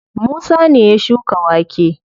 Musa ne ya shuka wake.